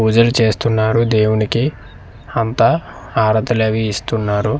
పూజలు చేస్తున్నారు దేవునికి అంతా హారతలు అవి ఇస్తున్నారు.